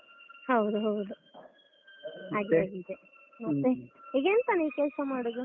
ಹೌದು ಹೌದು. ಹಾಗೆ ಆಗಿದೆ ಮತ್ತೆ? ಈಗ ಎಂತ ನೀವ್ ಕೆಲಸ ಮಾಡುದು?